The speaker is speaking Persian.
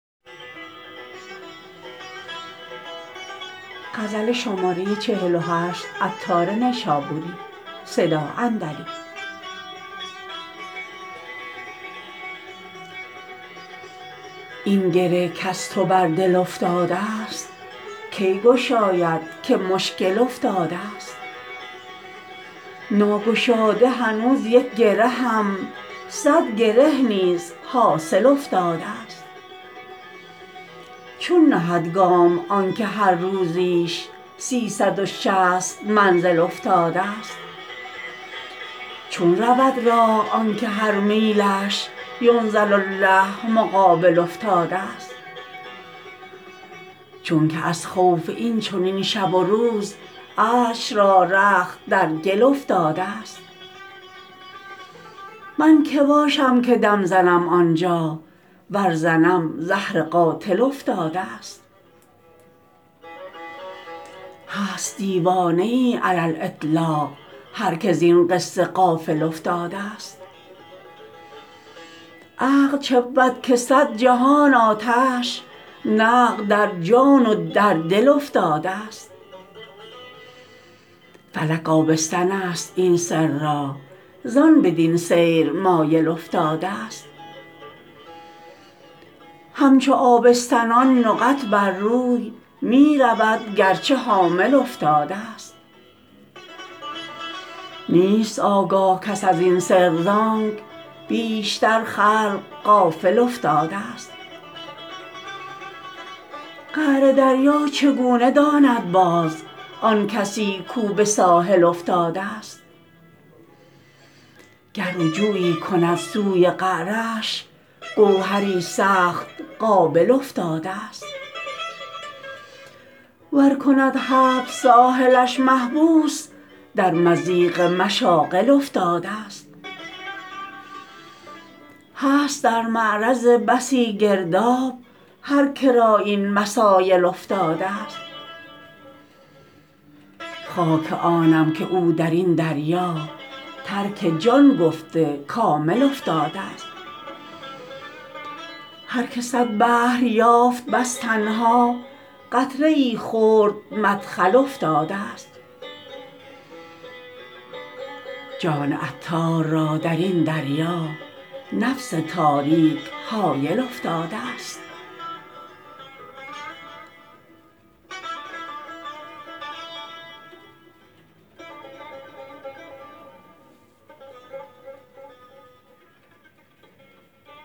این گره کز تو بر دل افتادست کی گشاید که مشکل افتادست ناگشاده هنوز یک گرهم صد گره نیز حاصل افتادست چون نهد گام آنکه هر روزیش سیصد و شصت منزل افتادست چون رود راه آنکه هر میلش ینزل الله مقابل افتادست چونکه از خوف این چنین شب و روز عرش را رخت در گل افتادست من که باشم که دم زنم آنجا ور زنم زهر قاتل افتادست هست دیوانه ای علی الاطلاق هر که زین قصه غافل افتادست عقل چبود که صد جهان آتش نقد در جان و در دل افتادست فلک آبستن است این سر را زان بدین سیر مایل افتادست همچو آبستنان نقط بر روی می رود گرچه حامل افتادست نیست آگاه کس ازین سر زانک بیشتر خلق غافل افتادست قعر دریا چگونه داند باز آن کسی کو به ساحل افتادست گر رجوعی کند سوی قعرش گوهری سخت قابل افتادست ور کند حبس ساحلش محبوس در مضیق مشاغل افتادست هست در معرض بسی گرداب هر که را این مسایل افتادست خاک آنم که او درین دریا ترک جان گفته کامل افتادست هر که صد بحر یافت بس تنها قطره ای خرد مدخل افتادست جان عطار را درین دریا نفس تاریک حایل افتادست